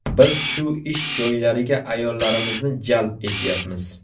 Biz shu ish joylariga ayollarimizni jalb etyapmiz.